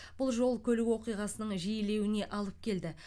бұл жол көлік оқиғасының жиілеуіне алып келді